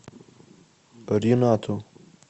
ринату